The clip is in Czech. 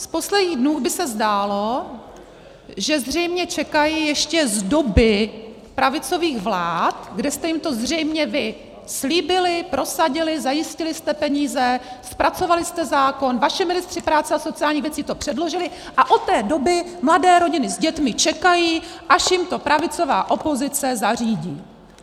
Z posledních dnů by se zdálo, že zřejmě čekají ještě z doby pravicových vlád, kdy jste jim to zřejmě vy slíbili, prosadili, zajistili jste peníze, zpracovali jste zákon, vaši ministři práce a sociálních věcí to předložili a od té doby mladé rodiny s dětmi čekají, až jim to pravicová opozice zařídí.